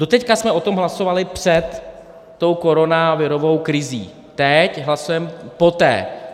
Doteď jsme o tom hlasovali před tou koronavirovou krizí, teď hlasujeme poté.